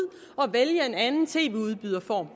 og vælge en anden tv udbyderform